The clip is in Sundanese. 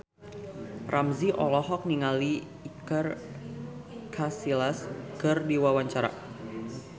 Ramzy olohok ningali Iker Casillas keur diwawancara